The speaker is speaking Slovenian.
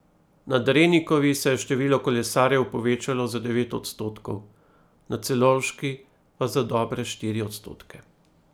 Na Drenikovi se je število kolesarjev povečalo za devet odstotkov, na Celovški pa za dobre štiri odstotke.